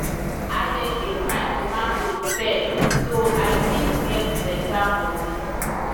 i dey keep my tomato firm so i fit get better money.